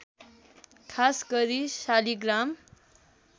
खास गरी शालिग्राम